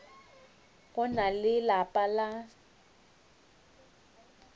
go na le lapa la